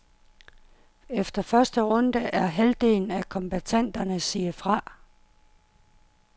Efter første runde er halvdelen af kombattanterne siet fra.